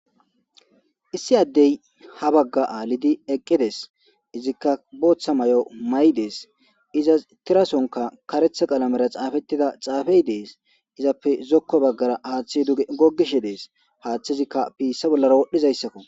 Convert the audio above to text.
Issi adey habaga alidi eqides izika bota mayo mayides izas tira sohonka karetha qalamera xafetida xafey dees izappe zoko bagara hathi duge gogishe de'es hathazika issi bagara wodhishe de'es.